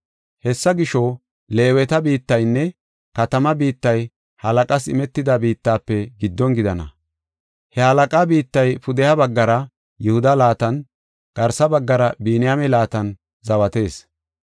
Hessa gisho, Leeweta biittaynne katamaa biittay halaqaas imetida biittafe giddon gidana. He halaqaa biittay pudeha baggara Yihuda laatan, garsa baggara Biniyaame laatan zawatees.